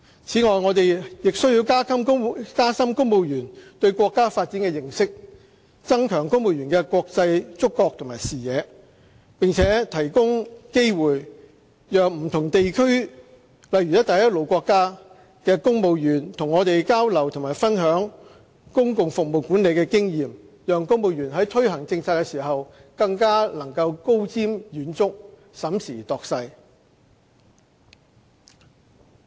此外，我們亦須加深公務員對國家發展的認識，增強公務員的國際觸覺和視野，並提供機會讓不同地區，例如"一帶一路"國家的公務員與我們交流及分享公共服務管理的經驗，讓公務員在推行政策時更能高瞻遠矚，審時度勢。